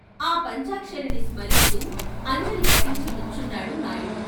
ఆ పంచాక్షరిని స్మరిస్తూ అంజలి ఘటించి నుంచున్నాడు నాయుడు.